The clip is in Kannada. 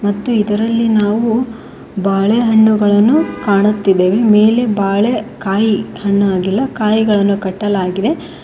ಮತ್ತು ಇದರಲ್ಲಿ ನಾವು ಬಾಳೆ ಹಣ್ಣುಗಳನ್ನು ಕಾಣುತ್ತಿದೆವೆ ಮೇಲೆ ಬಾಳೆ ಕಾಯಿ ಹಣ್ಣ ಆಗಿಲ್ಲ ಕಾಯಿಗಲನ್ನು ಕಟ್ಟಲಾಗಿದೆ.